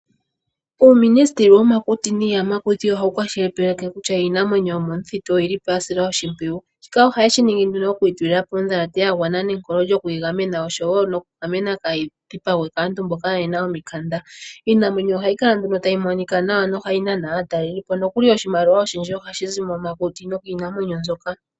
Uuministeli womakuti niiyamakuti ohawu kwashilipaleke kutya iinamwenyo yomomuthitu oyilipo ya silwa oshimpwiyu, shka ohaye shi ningi nduno okuyi tulilapo odhalate ya gwana nawa nenkolo lyokuyigamena osho woo nokugamena kayi dhipagwe kaantu mboka kaayena omikanda. Iinawenyo ohayi kala nduno tayi monika nawa nohayi nana aatalelipo nokuli oshimaliwa oshindji ohashizi momakuti nokiinamwenyo mbyoka.